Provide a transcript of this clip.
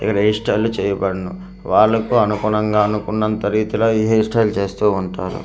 ఇక్కడ hair style లు చేయబడును వాళ్ళకు అనుగుణంగా అనుకున్నంత రీతిలో ఈ హెయిర్ స్టైల్ చేస్తూ ఉంటారు.